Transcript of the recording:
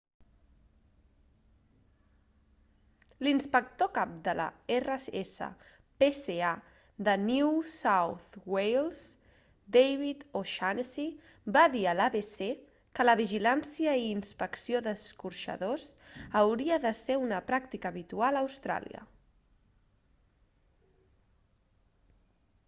l'inspector cap de la rspca de new south wales david o'shannessy va dir a l'abc que la vigiláncia i inspecció d'escorxaors hauria de ser una pràctica habitual a austràlia